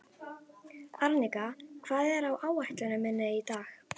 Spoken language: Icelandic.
Arnika, hvað er á áætluninni minni í dag?